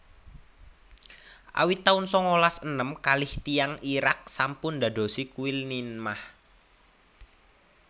Awit taun sangalas enem kalih tiyang Irak sampun ndandosi kuil Ninmah